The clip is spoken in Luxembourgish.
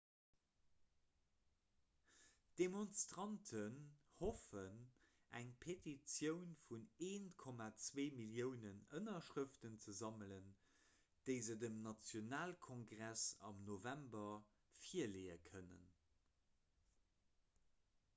d'demonstranten hoffen eng petitioun vun 1,2 milliounen ënnerschrëften ze sammelen déi se dem nationalkongress am november virleeë kënnen